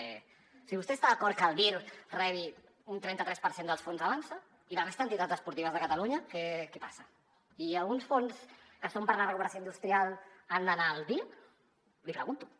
o sigui vostè està d’acord que el dir rebi un trenta tres per cent dels fons avançsa i la resta d’entitats esportives de catalunya què passa i uns fons que són per la recuperació industrial han d’anar al dir l’hi pregunto